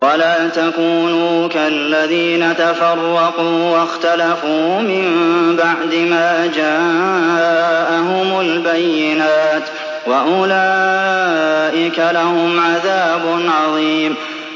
وَلَا تَكُونُوا كَالَّذِينَ تَفَرَّقُوا وَاخْتَلَفُوا مِن بَعْدِ مَا جَاءَهُمُ الْبَيِّنَاتُ ۚ وَأُولَٰئِكَ لَهُمْ عَذَابٌ عَظِيمٌ